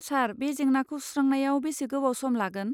सार, बे जेंनाखौ सुस्रांनायाव बेसे गोबाव सम लागोन?